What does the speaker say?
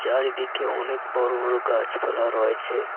চারিদিকে অনেক বড় বড় গাছপালা রয়েছে।